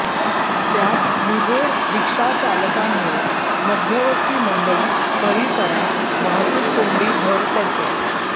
त्यात मुजोर रिक्षाचालकांमुळे मध्यवस्ती मंडई परिसरात वाहतूक कोंडी भर पडते